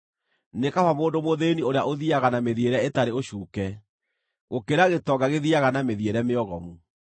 Nĩ kaba mũndũ mũthĩĩni ũrĩa ũthiiaga na mĩthiĩre ĩtarĩ ũcuuke, gũkĩra gĩtonga gĩthiiaga na mĩthiĩre mĩogomu.